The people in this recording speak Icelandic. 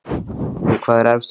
Sindri: Hvað er efst á lista?